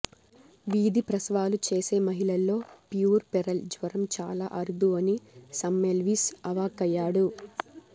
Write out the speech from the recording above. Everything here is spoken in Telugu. వీధి ప్రసవాలు చేసే మహిళల్లో ప్యూర్పెరల్ జ్వరం చాలా అరుదు అని సెమ్మెల్విస్ అవాక్కయ్యాడు